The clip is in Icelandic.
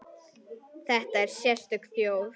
Þetta er sérstök þjóð.